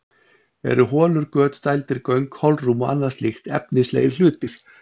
Eru holur, göt, dældir, göng, holrúm og annað slíkt efnislegir hlutir?